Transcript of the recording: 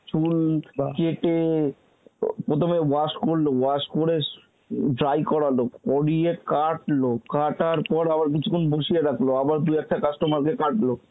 চুল বা কেটে প্রথমে wash করল, wash করে dry করালো, করিয়ে কাটল, কাটার পর আবার কিছুক্ষণ বসিয়ে রাখল আবার দু একটা customer কে কাটলো